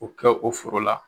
O kɛ o foro la